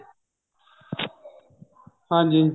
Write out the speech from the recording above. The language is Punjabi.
ਹਾਂਜੀ